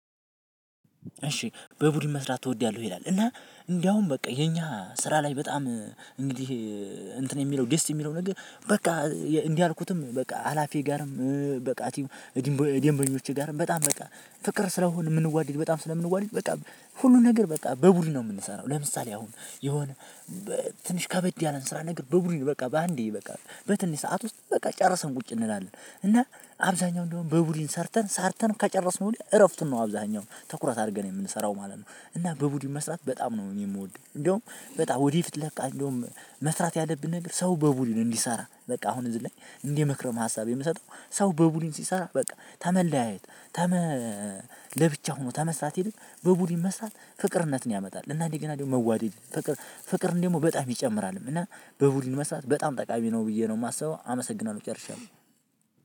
እሺ በቡድን መስራት ትወደለህ ሆይ ይላል? እና እንዳውም በቃ የኛ ስራ ላይ በጣም እንግዲህ እንትን የሚለው ደስ የሚለው ነገር በቃ እንዲህ አልኩትም በቃ አላፊ ጋርም በቃ ደንበኞቼ ጋር በጣም በቃ ፍቅር ስለሆን፤ የምንዋደድ በጣም ስለምንዋደድ በቃ ሁሉን ነገር በቃ በቡድን ነው የምንሰራው። ለምሳሌ አሁን የሆነ ትንሽ ከበድ ያለን ስራ ነገር በቡድን በቃ በአንዴ በቃ በትንሽ ሰዓት ውስጥ በቃ ጨረሰን ቁጭ እንላለን። እና አብዛኛው እንዳውም በቡድን ሰርተን ሰርተን ከጨረስነው ወዲያ እረፍቱን ነው አብዛኛው ትኩረት አድርገን የምንሰራው ማለት ነው። እና በቡድን መስራት በጣም ነው እኔ የምወደው። እንዲያውም በጣም ወዲፊት ለካ እንዳውም መስራት ያለብን ነገር ሰው በቡድን እንዲሰራ በቃ አሁን እዚህ ላይ እንድ ምክረ ሀሳብ የምሰጠው፤ ሰው በቡድን ሲሰራ በቃ ከመለያየት፣ ከመ ለብቻ ሆኖ ከመስራት ይልቅ በቡድን መስራት ፍቅርነትን ያመጣል እና እንደገና ደግሞ መዋደድ ፍቅር ፍቅር እንደው በጣም ይጨምራል እና በቡድን መስራት በጣም ጠቃሚ ነው ብዬ ነው የማስበው። አመሰግናለሁ ጨርሻለሁ።